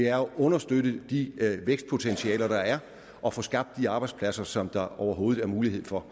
at understøtte de vækstpotentialer der er og få skabt de arbejdspladser som der overhovedet er mulighed for